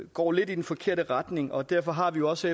går lidt i den forkerte retning og derfor har vi også